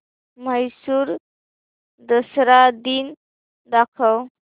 म्हैसूर दसरा दिन दाखव